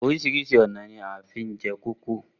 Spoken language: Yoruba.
Oríṣiríṣi ọ̀nà ni wọ́n fi ń jẹ kókò.